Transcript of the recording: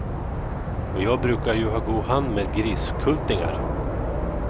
Och jag brukar ju ha god hand med griskultingar.